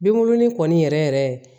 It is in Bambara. Binkurunin kɔni yɛrɛ yɛrɛ